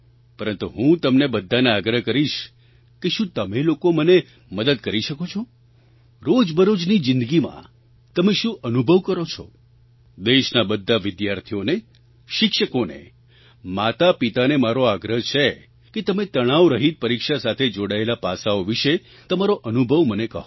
પરંતુ હું તમને બધાને આગ્રહ કરીશ કે શું તમે લોકો મને મદદ કરી શકો છો રોજબરોજની જિંદગીમાં તમે શું અનુભવ કરો છો દેશના બધા વિદ્યાર્થીઓને શિક્ષકોને માતાપિતાને મારો આગ્રહ છે કે તમે તણાવરહિત પરીક્ષા સાથે જોડાયેલાં પાસાંઓ વિશે તમારો અનુભવ મને કહો